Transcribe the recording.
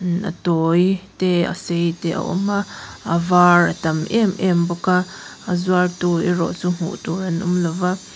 a tawi te a sei te a awm a a var a tam em em bawk a a zuartu erawh chu hmuh tur an awm lo a.